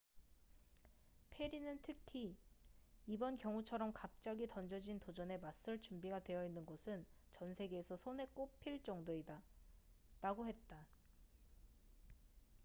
"페리는 특히 "이번 경우처럼 갑자기 던져진 도전에 맞설 준비가 되어있는 곳은 전 세계에서 손에 꼽힐 정도이다.""라고 했다.